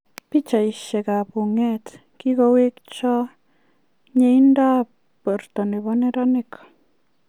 Pichaiisiek ab uungat: Kigowechog' miindoab borto nebo neeraanik.